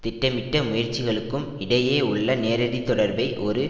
திட்டமிட்ட முயற்சிகளுக்கும் இடையே உள்ள நேரடி தொடர்பை ஒரு